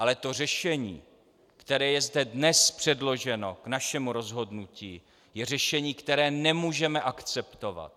Ale to řešení, které je zde dnes předloženo k našemu rozhodnutí, je řešení, které nemůžeme akceptovat.